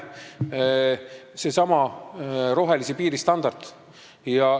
Seal on seesama rohelise piiri standard.